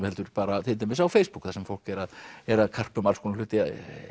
heldur bara til dæmis á Facebook þar sem fólk er að er að karpa um alls konar hluti